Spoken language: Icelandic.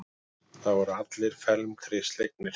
Það voru allir felmtri slegnir.